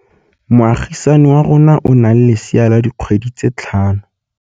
Moagisane wa rona o na le lesea la dikgwedi tse tlhano.